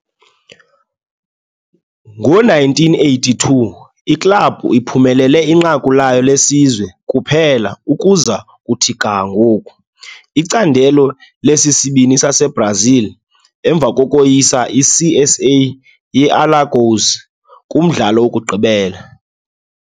Ngo-1982, iklabhu iphumelele inqaku layo lesizwe kuphela ukuza kuthi ga ngoku, iCandelo lesisibini saseBrazil, emva kokoyisa CSA ye-Alagoas kumdlalo wokugqibela.